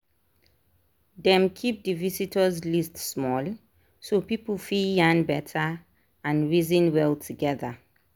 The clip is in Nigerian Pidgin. dem keep the vistors list small so people fit yarn better and reason well together.